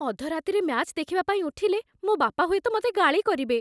ଅଧରାତିରେ match ଦେଖିବା ପାଇଁ ଉଠିଲେ, ମୋ ବାପା ହୁଏତ ମତେ ଗାଳି କରିବେ ।